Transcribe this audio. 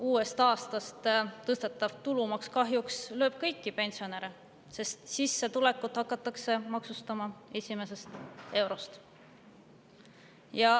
Uuest aastast tõstetav tulumaks kahjuks lööb kõiki pensionäre, sest sissetulekut hakatakse maksustama esimesest eurost.